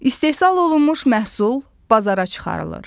İstehsal olunmuş məhsul bazara çıxarılır.